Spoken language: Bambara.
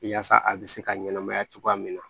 Yaasa a bɛ se ka ɲɛnɛmaya cogoya min na